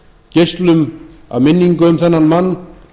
geislum af minningu um þennan mann